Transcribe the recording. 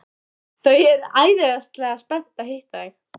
Þau eru æðislega spennt að hitta þig.